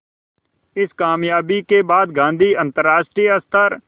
इस क़ामयाबी के बाद गांधी अंतरराष्ट्रीय स्तर